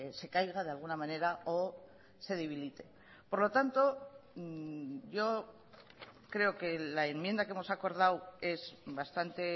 se caiga de alguna manera o se debilite por lo tanto yo creo que la enmienda que hemos acordado es bastante